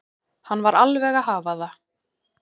Hann var alveg að hafa það.